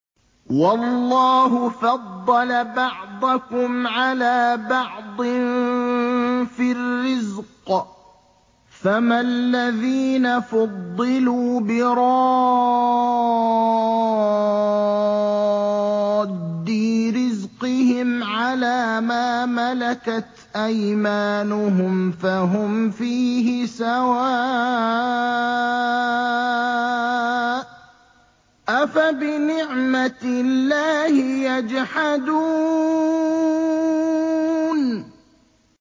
وَاللَّهُ فَضَّلَ بَعْضَكُمْ عَلَىٰ بَعْضٍ فِي الرِّزْقِ ۚ فَمَا الَّذِينَ فُضِّلُوا بِرَادِّي رِزْقِهِمْ عَلَىٰ مَا مَلَكَتْ أَيْمَانُهُمْ فَهُمْ فِيهِ سَوَاءٌ ۚ أَفَبِنِعْمَةِ اللَّهِ يَجْحَدُونَ